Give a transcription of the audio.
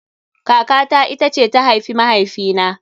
Kaka ta ita ce ta haifi mahaifi na